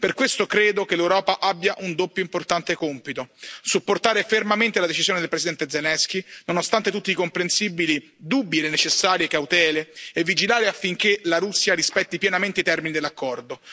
Per questo credo che l'Europa abbia un doppio importante compito supportare fermamente la decisione del presidente Zelensky, nonostante tutti i comprensibili dubbi e le necessarie cautele, e vigilare affinché la Russia rispetti pienamente i termini dell'accordo.